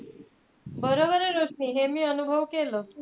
बरोबरे रोशनी हे मी अनुभव केलं.